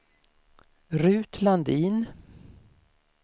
Ruth Landin